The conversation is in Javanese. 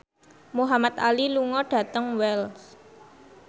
Muhamad Ali lunga dhateng Wells